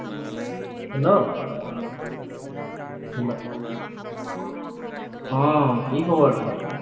Hello অ, কি খবৰ তোমাৰ?